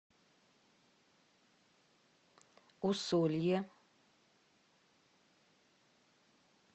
усолье